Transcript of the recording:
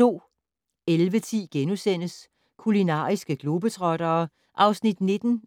11:10: Kulinariske globetrottere (19:28)* 13:15: